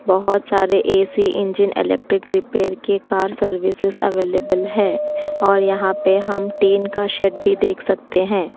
बहोत सारे A C engine electric repair के कार सर्विसेज अवेलेबल है और यहां पर हम टीन का सेट भी देख सकते हैं।